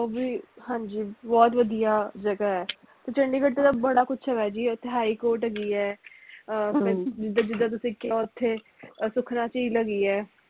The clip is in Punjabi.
ਉਹ ਵੀ ਹਾਂਜੀ ਬਹੁਤ ਵਧੀਆ ਜਗਾਹ ਆ ਚੰਡੀਗੜ੍ਹ ਤੇ ਬੜਾ ਕੁਛ ਹੇਗਾ ਜੀ ਇੱਥੇ high court ਹੇਗੀ ਐ ਅਹ ਜਿਦਾ ਜਿਦਾ ਤੁਸੀਂ ਕਿਹਾ ਓਥੇ ਅਹ ਸੁਖਣਾ ਝੀਲ ਹੇਗੀ ਐ